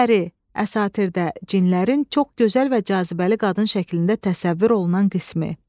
Pəri, əsatirdə cinlərin çox gözəl və cazibəli qadın şəklində təsəvvür olunan qismi.